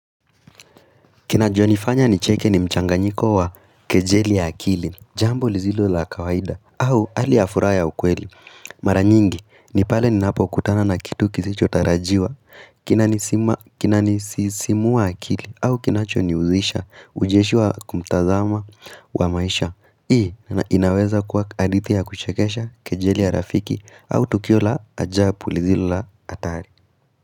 Kinacho nifanya ni cheke ni mchanganyiko wa kejeli ya akili, jambo lizilo la kawaida, au alia furaha ya ukweli, mara nyingi ni pale ni napo kutana na kitu kisicho tarajiwa, kinanisisimua akili, au kinacho ni uzisha, ujeshi kumtazama wa maisha, hii na inaweza kwa hadithi ya kuchekesha kejeli ya rafiki au tukio la ajabu lizilo la hatari.